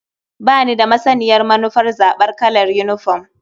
Ba ni da masaniyar manufar zaɓar kalar yinifom.